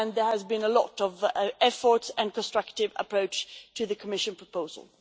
There has been a lot of effort and a constructive approach to the Commission proposal.